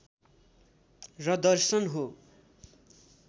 र दर्शन हो